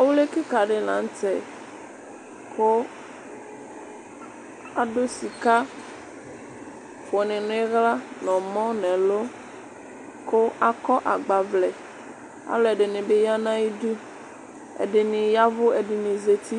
ɔwli keka di lantɛ kò adu sika kò ni n'ila n'ɔmɔ n'ɛlu kò akɔ agbavlɛ alò ɛdini bi ya n'ayidu ɛdini ya vu ɛdini zati